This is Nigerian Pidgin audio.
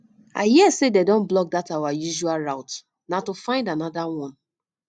i hear say dey don block dat our usual route na to go find another one